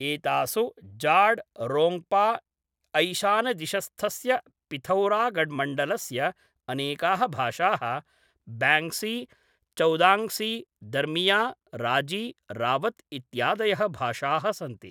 एतासु जाड् , रोङ्ग्पा , ऐशानदिशस्थस्य पिथौरागढ्मण्डलस्य अनेकाः भाषाः, ब्याङ्ग्सी, चौदाङ्ग्सी, दर्मिया, राजी, रावत् इत्यादयः भाषाः सन्ति।